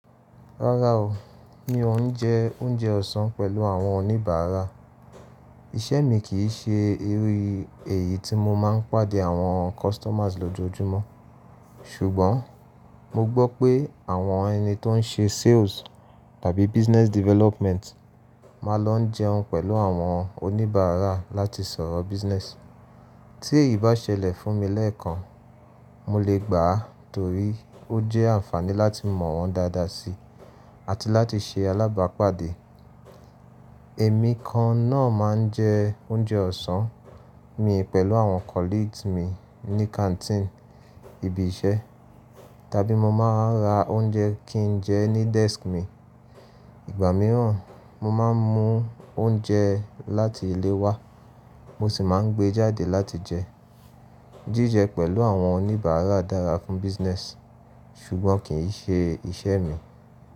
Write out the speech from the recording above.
Rárá o, mi ò n jẹ oúnjẹ ọ̀sán pẹ̀lú àwọn oníbàárà. Iṣẹ́ mi kì í ṣe irú èyí tí mo máa ń pàdé àwọn customers lójoojúmọ́. Ṣùgbọ́n mo gbọ́ pé àwọn ẹni tó ń ṣe sales tàbí business development máa lọ jẹun pẹ̀lú àwọn oníbàárà láti sọ̀rọ̀ business. Tí èyí bá ṣẹlẹ̀ fún mi lẹ́ẹ̀kan, mo lè gbà á torí ó jẹ́ ànfàní láti mọ̀ wọ́n dáadáa si àti láti ṣe alábàápàdé. Èmi kan náà máa ń jẹ oúnjẹ ọ̀sán mi pẹ̀lú àwọn colleagues mi ní canteen ibi iṣẹ́ tàbí mo máa ra oúnjẹ kí n jẹ ẹ́ ní desk mi. Ìgbà mìíràn mo máa ń mú oúnjẹ láti ilé wá mo sì máa ń gbé e jáde láti jẹ ẹ́. Jíjẹ pẹ̀lú àwọn oníbàárà dára fún business ṣùgbọ́n kì í ṣe iṣẹ́ mi.